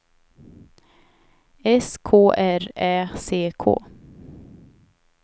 S K R Ä C K